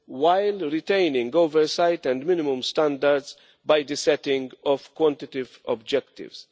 while retaining oversight and minimum standards by setting quantitative objectives.